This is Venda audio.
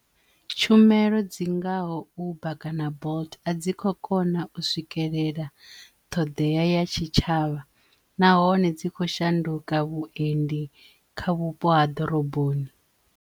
Tshumelo dzingaho Uber kana Bolt a dzi kho kona u swikelela ṱhoḓea ya tshitshavha nahone dzi kho shanduka vhuendi kha vhupo ha ḓoroboni.